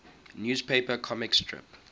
newspaper comic strip